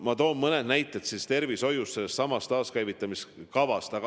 Ma toon mõned näited tervishoiust sellessamas taaskäivitamiskavas.